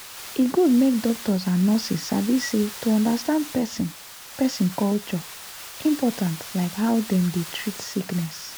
e good make doctors and nurses sabi say to understand person person culture important like how dem dey treat sickness.